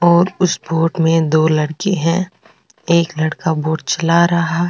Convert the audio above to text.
और उस बोट में दो लड़के हैं एक लड़का बोट चला रहा है।